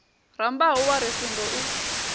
rambau wa ri singo u